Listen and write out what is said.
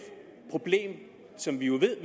problem som vi jo ved